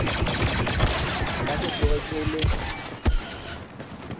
nka se tsoge ke le